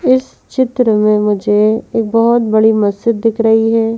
इस चित्र में मुझे एक बहुत बड़ी मस्जिद दिख रही है।